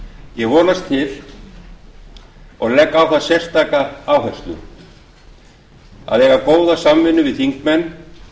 ég vonast til og legg á það sérstaka áherslu að eiga góða samvinnu við þingmenn